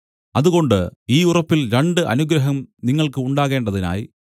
അതുകൊണ്ട് ഈ ഉറപ്പിൽ രണ്ട് അനുഗ്രഹം നിങ്ങൾക്ക് ഉണ്ടാകേണ്ടതിനായി